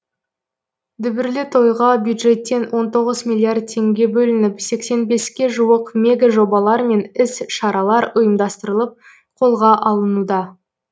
дүбірлі тойға бюджеттен он тоғыз миллиард теңге бөлініп сексен беске жуық мега жобалар мен іс шаралар ұйымдастырылып қолға алынуда